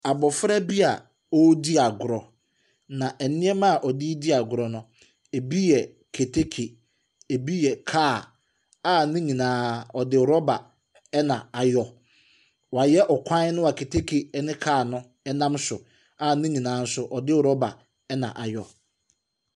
Abɔfra bi a ɔredi agorɔ, nanneɛma a ɔde redi agorɔ no, ɛbi yɛ keteke. Ɛbi yɛ kaa, a ne nyinaa wɔde rɔba na ayɔ. Wɔayɛ ɔkwan no a keteke ne kaa no nam so, a ne nyinaa nso wɔde rɔba na ayɔ.